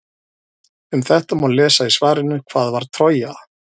Um þetta má lesa í svarinu Hvað var Trója?